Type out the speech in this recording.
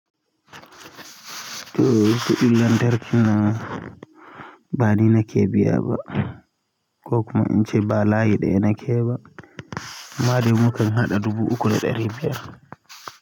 To, kuɗin lantarki na, bani na ke biya ba. Kokuma in ca ba layi ɗaya nake ba. Da dai mukan haɗa dubu uku da ɗari biyar.